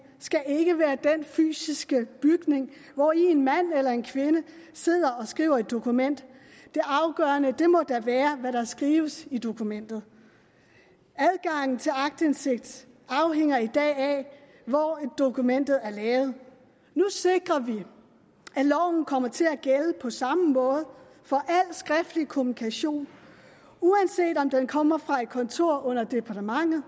skal ikke være den fysiske bygning hvori en mand eller en kvinde sidder og skriver et dokument det afgørende må da være hvad der skrives i dokumentet adgangen til aktindsigt afhænger i dag af hvor dokumentet er lavet nu sikrer vi at loven kommer til at gælde på samme måde for al skriftlig kommunikation uanset om den kommer fra et kontor under departementet